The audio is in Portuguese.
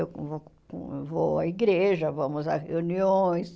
Eu vou eu vou à igreja, vamos a reuniões.